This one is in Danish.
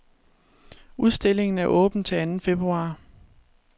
Udstillingen er åben til anden februar.